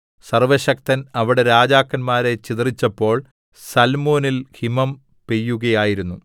സർവ്വശക്തൻ അവിടെ രാജാക്കന്മാരെ ചിതറിച്ചപ്പോൾ സല്മോനിൽ ഹിമം പെയ്യുകയായിരുന്നു